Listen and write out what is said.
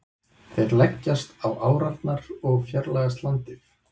Þeir leggjast á árarnar og fjarlægjast landið.